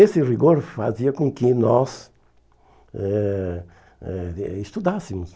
Esse rigor fazia com que nós eh eh eh estudássemos.